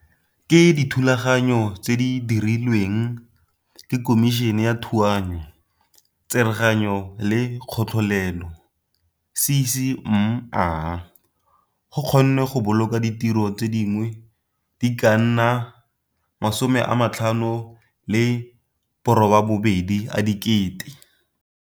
Ka dithulaganyo tse di dirilweng ke Khomišene ya Thuanyo, Tsereganyo le Katlholelo, CCMA, go kgonnwe go boloka ditiro tse dingwe di ka nna 58 000.